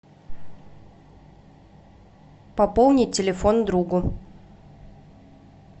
пополни телефон другу